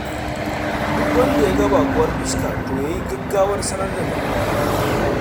Duk wanda ya ga baƙuwar fuska, to ya yi gaggawar sanar da mai unguwa.